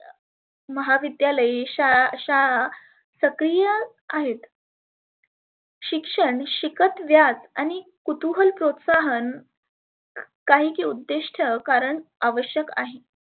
महाविद्यालय शाळा शाळा सक्रिय आहेत. शिक्षण शिकत वेळात आणि कुतुहल प्रोत्साहन अं काहीचे उद्देष्ठ कारण आवश्यक आहे.